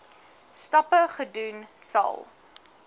stappe gedoen sal